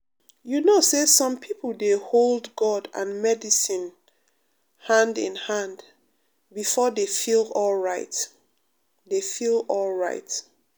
you know say some people dey hold god and medicine um hand in hand before dey feel alright. dey feel alright.